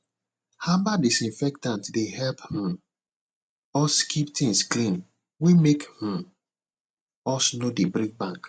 herbal disinfectant dey help um us keep things clean wey make um us no dey break bank